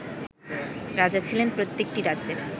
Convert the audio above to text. রাজা ছিলেন প্রত্যেকটি রাজ্যের